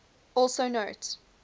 also note